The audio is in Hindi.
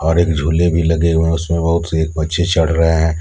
और एक झूले भी लगे हुए है उसमें बहुत से बच्चे चढ़ रहे हैं।